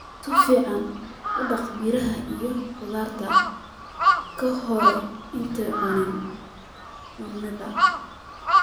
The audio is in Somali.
Si fiican u dhaq miraha iyo khudaarta ka hor intaadan cunin.